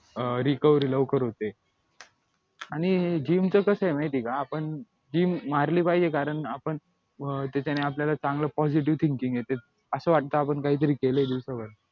अं recovery लवकर होते आणि gym च कसं माहिती आहे का आपण gym मारली पाहिजे कारण आपण त्याच्याने आपल्याला चांगलं positive thinking येते असं वाटतं आपण काहीतरी केलंय दिवसावर